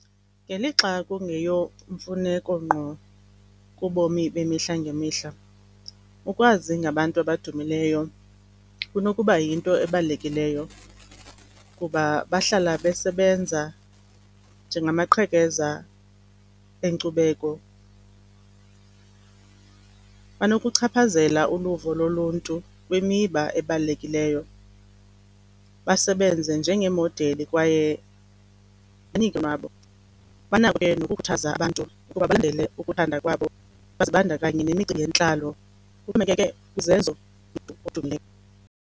Ngelixa kungeyomfuneko ngqo kubomi bemihla ngemihla, ukwazi ngabantu abadumileyo kunokuba yinto ebalulekileyo, kuba bahlala besebenza njengamaqhekeza enkcubeko. Banokuchaphazela uluvo loluntu kwimiba ebalulekileyo basebenze njengemodeli kwaye banako ke nokukhuthaza abantu ukuba ukuthanda kwabo bazibandakanye yentlalo kuxhomekeke .